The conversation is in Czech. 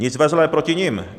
Nic ve zlém proti nim.